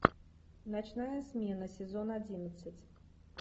ночная смена сезон одиннадцать